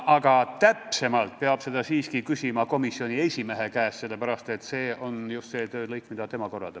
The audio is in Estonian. Aga seda peab siiski üle küsima komisjoni esimehe käest, sest see on just see töölõik, mida tema korraldab.